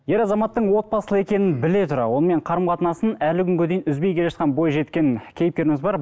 ер азаматтың отбасылы екенін біле тұра онымен қарым қатынасын әлі күнге дейін үзбей келе жатқан бойжеткен кейіпкеріміз бар